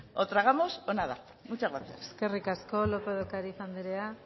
o tragamos o nada muchas gracias eskerrik asko lópez de ocariz andrea